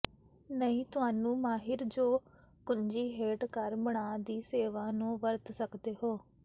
ਨਹੀ ਤੁਹਾਨੂੰ ਮਾਹਿਰ ਜੋ ਕੁੰਜੀ ਹੇਠ ਘਰ ਬਣਾ ਦੀ ਸੇਵਾ ਨੂੰ ਵਰਤ ਸਕਦੇ ਹੋ